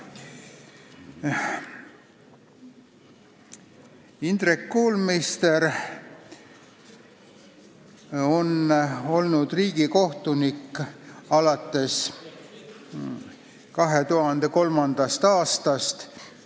Indrek Koolmeister on olnud riigikohtunik alates 2003. aastast.